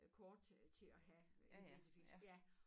Øh kort til til at have identifikation ja